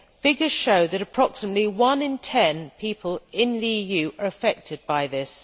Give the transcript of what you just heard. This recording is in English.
Figures show that approximately one in ten people in the EU are affected by this.